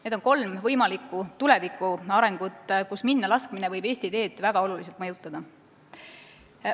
Need on kolm võimalikku tulevikuarengut, kus minnalaskmine võib Eesti teed väga oluliselt mõjutada.